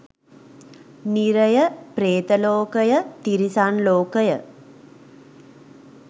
නිරය, ප්‍රේත ලෝකය, තිරිසන් ලෝකය,